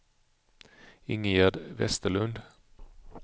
Ingegärd Vesterlund